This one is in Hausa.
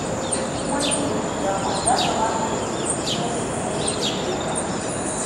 Duk wanda yayi nadama, ya kamata ya nisanci maimaita aikata laifuka.